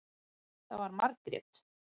Það var Margrét.